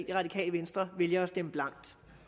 det radikale venstre vælger at stemme blankt